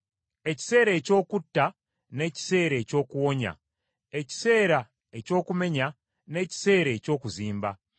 ekiseera eky’okutta n’ekiseera eky’okuwonya; ekiseera eky’okumenya n’ekiseera eky’okuzimba;